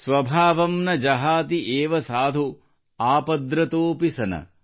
ಸ್ವಭಾವಂ ನ ಜಹಾತಿ ಏವ ಸಾಧು ಆಪದ್ರತೋಪಿ ಸನ